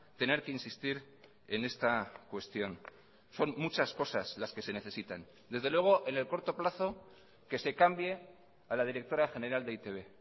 tener que insistir en esta cuestión son muchas cosas las que se necesitan desde luego en el corto plazo que se cambie a la directora general de e i te be